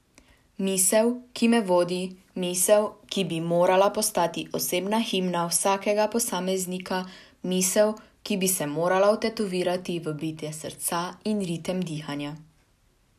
Misel, ki me vodi, misel, ki bi morala postati osebna himna vsakega posameznika, misel, ki bi se morala vtetovirati v bitje srca in ritem dihanja.